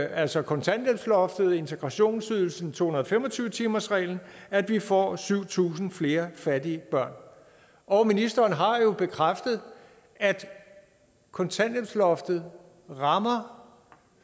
altså kontanthjælpsloftet integrationsydelsen og to hundrede og fem og tyve timersreglen at vi får syv tusind flere fattige børn og ministeren har jo bekræftet at kontanthjælpsloftet rammer